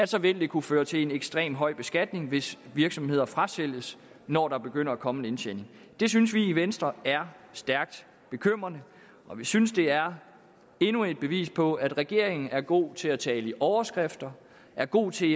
så vil kunne føre til en ekstremt høj beskatning hvis virksomheder frasælges når der begynder at komme en indtjening det synes vi i venstre er stærkt bekymrende og vi synes det er endnu et bevis på at regeringen er god til at tale i overskrifter er god til